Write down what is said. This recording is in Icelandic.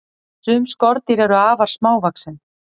Sum skordýr eru afar smávaxin.